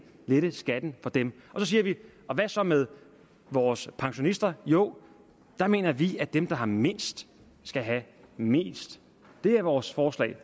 skatten for dem og så siger vi hvad så med vores pensionister jo der mener vi at dem der har mindst skal have mest det er vores forslag